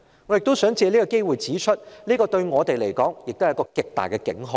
我亦想藉此機會指出，這對我們是極大的警號。